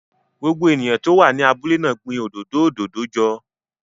Gbogbo ènìyàn tó wà ní abúlé náà gbin òdòdó òdòdó ọjọ́